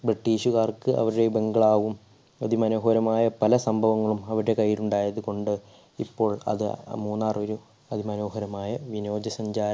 british കാർക്ക് അവരെ bangalow വും അതിമനോഹരമായ പല സംഭവങ്ങളും അവരുടെ കൈയ്യിൽ ഉണ്ടായതു കൊണ്ട് ഇപ്പോൾ അത് മൂന്നാർ ഒരു അതിമനോഹരമായ വിനോദസഞ്ചാര